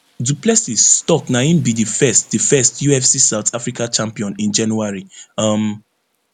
du plessis tok na im be di first di first ufc south africa champion in january um